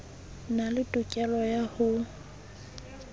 na le tokelo ya ho